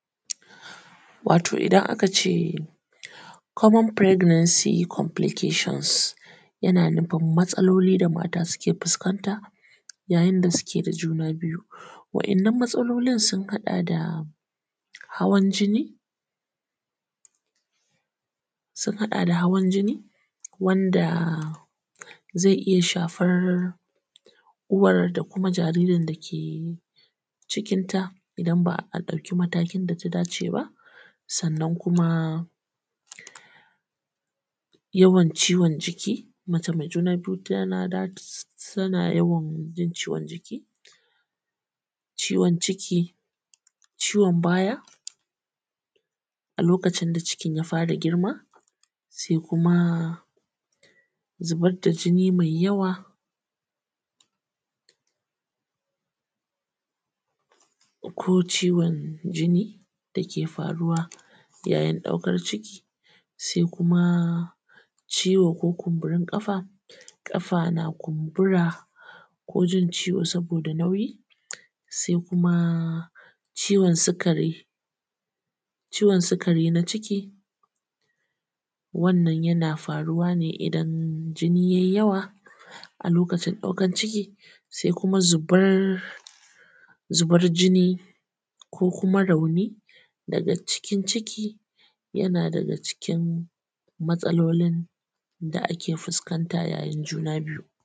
Wato idan aka ce Komon Faireganansi Komflikashun yana nufin matsalolin da mata suke fuskanta yayin da suke da juna biyu waɗannan matsalolin sun haɗa da hawan jini, wanda zai iya shafar uwar da kuma jaririn da yake cikinta. Idan ba a ɗauki matakin da ya dace ba sannan kuma yawan ciwon jiki mace mai juna biyu tana yawan jin ciwon jiki, ciwon ciki, ciwon baya, a lokacin da cikin ya fara girma. Sai kuma zubar da jini mai yawa ko ciwon jini dake faruwa yayin ɗaukan ciki. Sai kuma ciwo ko kumburin ƙafa, ƙafa na kumbura ko jin ciwo saboda nauyi. Sai kuma ciwon sukari na ciki, wannan yana faruwa ne idan jini yai yawa a lokacin ɗaukan ciki. Sai kuma zubar jini ko kuma rauni daga cikin ciki yana daga cikin matsalolin da ake fuskanta yayin juna biyu.